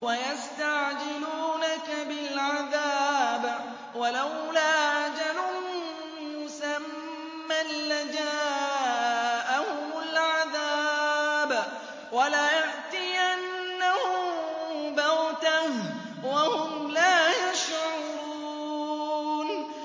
وَيَسْتَعْجِلُونَكَ بِالْعَذَابِ ۚ وَلَوْلَا أَجَلٌ مُّسَمًّى لَّجَاءَهُمُ الْعَذَابُ وَلَيَأْتِيَنَّهُم بَغْتَةً وَهُمْ لَا يَشْعُرُونَ